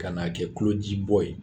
Kan n'a kɛ kulo ji bɔ ye